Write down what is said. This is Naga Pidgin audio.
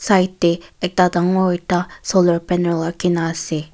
side tey ekta dangor ekta solar panel rakhina ase.